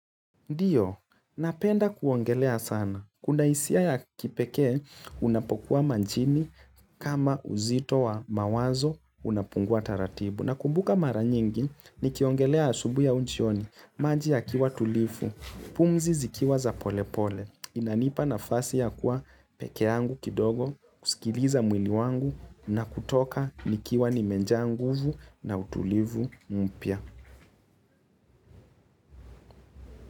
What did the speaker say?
Ndiyo, napenda kuongelea sana. Kuna hisia ya kipekee unapokuwa majini kama uzito wa mawazo unapungua taratibu. Nakumbuka mara nyingi ni kiogelea asubuhi au jioni, maji yakiwa tulifu, pumzi zikiwa za polepole. Inanipa nafasi ya kuwa peke yangu kidogo, kusikiliza mwili wangu na kutoka nikiwa nimejaa nguvu na utulivu mpya.